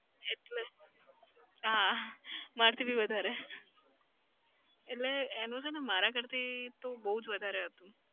એટલે હા. મારથી બી વધારે. એટલે એનું છે ને મારા કરતી તો બઉ જ વધારે હતું.